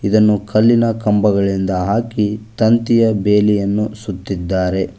ಇದನ್ನು ಕಲ್ಲಿನ ಕಂಬಗಳಿಂದ ಹಾಕಿ ತಂತಿಯ ಬೇಲಿಯನ್ನು ಸುತ್ತಿದ್ದಾರೆ.